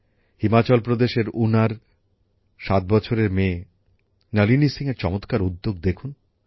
হিমাচল প্রদেশের উনার ৭ বছরের মেয়ে নলিনী সিংএর চমৎকার উদ্যোগ দেখুন